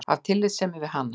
Af tillitssemi við hana.